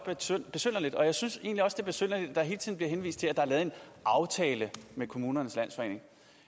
besynderligt og jeg synes egentlig også det er besynderligt at der hele tiden bliver henvist til at der er lavet en aftale med kommunernes landsforening